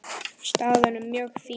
Staðan er mjög fín.